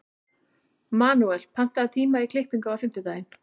Manuel, pantaðu tíma í klippingu á fimmtudaginn.